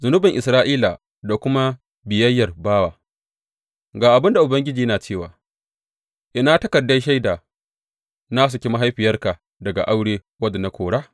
Zunubin Isra’ila da kuma biyayyar bawa Ga abin da Ubangiji yana cewa, Ina takardar shaida na saki mahaifiyarka daga aure wadda na kora?